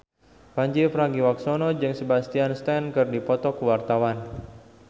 Pandji Pragiwaksono jeung Sebastian Stan keur dipoto ku wartawan